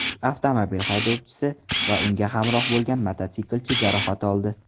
Avtomobil haydovchisi va unga hamroh bo‘lgan mototsiklchi jarohat oldi.